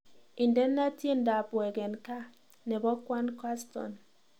Indene tyendab wegen gaa nebo kwaan kaston